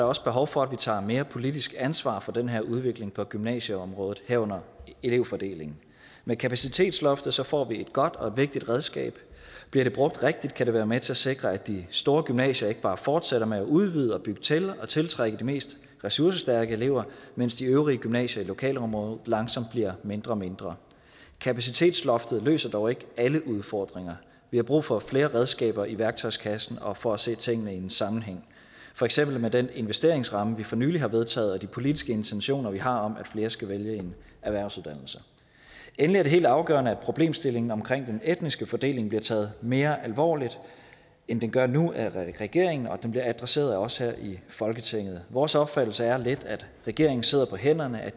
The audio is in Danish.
også behov for at vi tager mere politisk ansvar for den her udvikling på gymnasieområdet herunder elevfordelingen med kapacitetsloftet får vi et godt og vigtigt redskab bliver det brugt rigtigt kan det være med til at sikre at de store gymnasier ikke bare fortsætter med at udvide og bygge til og tiltrække de mest ressourcestærke elever mens de øvrige gymnasier i lokalområdet langsomt bliver mindre og mindre kapacitetsloftet løser dog ikke alle udfordringer vi har brug for flere redskaber i værktøjskassen og for at se tingene i en sammenhæng for eksempel med den investeringsramme vi for nylig har vedtaget og de politiske intentioner vi har om at flere skal vælge en erhvervsuddannelse endelig er det helt afgørende at problemstillingen omkring den etniske fordeling bliver taget mere alvorligt end den gør nu af regeringen og at den bliver adresseret af os her i folketinget vores opfattelse er lidt at regeringen sidder på hænderne at